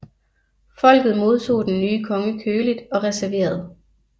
Folket modtog den nye konge køligt og reserveret